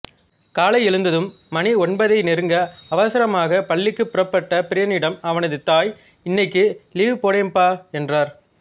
காலை எழுந்ததும் மணி ஒன்பதை நெருங்க அவசரமாக பள்ளிக்கு புறப்பட்ட பிரியனிடம் அவனது தாய் இன்னைக்கு லீவு போடேம்பா என்றார்